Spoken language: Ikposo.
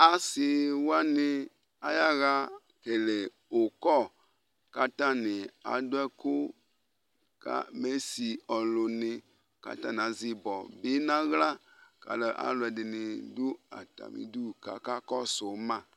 asiwani ayaɣa ekele ilevlesɛ, kʊ atanɩ adʊ ɛkʊ mʊ esi alʊnɩ, kʊ atanɩ azɛ ibɔ bɩ n'aɣla, kʊ alʊdɩnɩ dʊ atamidu kʊ akakɔsʊ ma